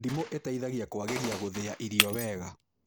Ndimũ ĩteithagia kũagĩria gũthĩa irio wega